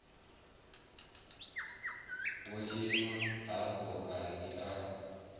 wo ima hafho kani a